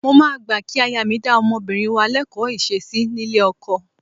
Mo máa gbà kí aya mi dá ọmọbìnrin wa lẹ́kọ̀ọ́ ìṣesí nílé ọkọ.